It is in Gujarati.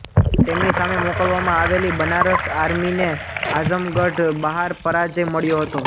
તેમની સામે મોકલવામાં આવેલી બનારસ આર્મીને આઝમગઢ બહાર પરાજય મળ્યો હતો